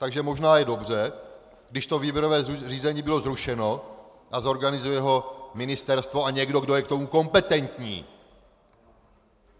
Takže možná je dobře, když to výběrové řízení bylo zrušeno a zorganizuje ho ministerstvo a někdo, kdo je k tomu kompetentní!